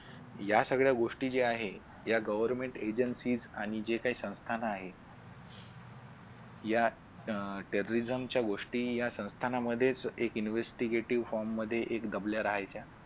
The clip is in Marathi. या सगळ्या गोष्टी ज्या आहेत या government agencies आणि जे काही संस्थान आहेत या Terry Reason च्या गोष्टी या संस्थानामध्येच एक investigative form मध्ये एक दबल्या राहायच्या.